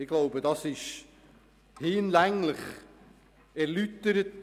Ich glaube, die Begründung zu Ziffer 4 wurde in der Antwort der Regierung hinlänglich erläutert.